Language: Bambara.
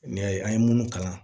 N'i y'a ye an ye munnu kalan